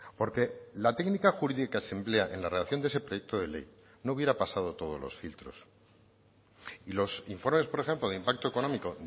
porque la técnica jurídica se emplea en la redacción de ese proyecto de ley no hubiera pasado todos los filtros y los informes por ejemplo de impacto económico